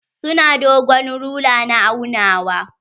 Su na dogon rula na aunawa.